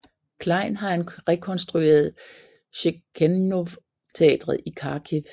Klejn har han rekonstrueret Shevchenko Teatret i Kharkiv